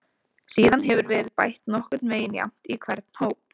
Síðan hefur verið bætt nokkurn veginn jafnt í hvern hóp.